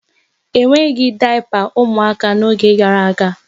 E nweghị dayapa ụmụaka n'oge gara aga.